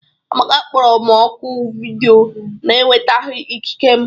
Amaka kpọrọ m oku vidiyo na-enwetaghị ikike m